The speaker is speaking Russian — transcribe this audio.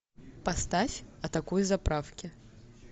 поставь атакуй заправки